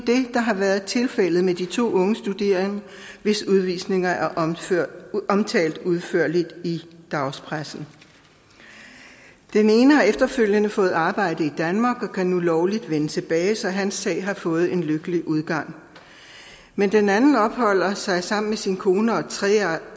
det der har været tilfældet med de to unge studerende hvis udvisninger er omtalt udførligt i dagspressen den ene har efterfølgende fået arbejde i danmark og kan nu lovligt vende tilbage så hans sag har fået en lykkelig udgang men den anden opholder sig i sammen med sin kone og et